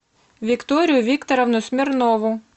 викторию викторовну смирнову